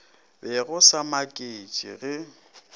be go sa makatše ge